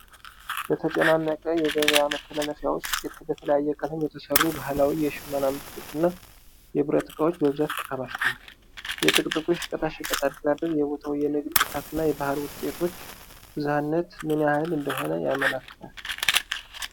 በተጨናነቀ የገበያ መተላለፊያ ውስጥ፣ በተለያየ ቀለም የተሠሩ ባህላዊ የሽመና ምርቶች እና የብረት እቃዎች በብዛት ተከማችተዋል፤ የጥቅጥቁ የሸቀጣሸቀጥ አደራደር የቦታው የንግድ ብርታት እና የባህል ውጤቶች ብዝሃነት ምን ያህል እንደሆነ ያመለክታል?